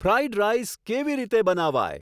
fried rice કેવી રીતે બનાવાય